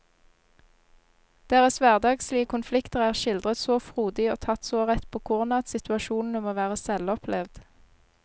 Deres hverdagslige konflikter er skildret så frodig og tatt så rett på kornet at situasjonene må være selvopplevd.